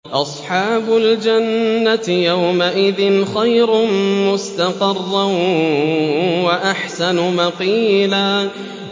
أَصْحَابُ الْجَنَّةِ يَوْمَئِذٍ خَيْرٌ مُّسْتَقَرًّا وَأَحْسَنُ مَقِيلًا